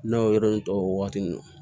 N'a y'o yɔrɔ in tɔ wagati